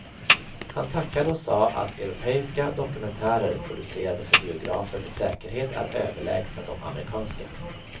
Han tackade och sa att europeiska dokumentärer producerade för biografer med säkerhet är överlägsna de amerikanska.